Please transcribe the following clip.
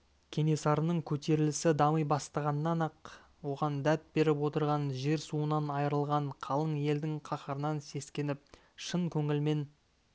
кенесарының көтерілісі дами бастағаннан-ақ оған дәт беріп отырған жер-суынан айырылған қалың елдің қаһарынан сескеніп шын көңілмен